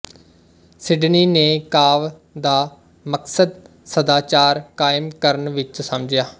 Sydney ਨੇ ਕਾਵਿ ਦਾ ਮਕਸਦ ਸਦਾਚਾਰ ਕਾਇਮ ਕਰਨ ਵਿੱਚ ਸਮਝਿਆ